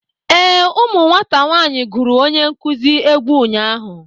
Ee, ụmụ nwata nwaanyị gụrụ onye nkuzi egwu ụnyaahụ